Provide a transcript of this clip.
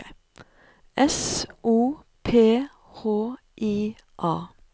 S O P H I A